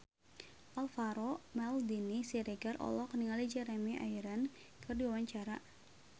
Alvaro Maldini Siregar olohok ningali Jeremy Irons keur diwawancara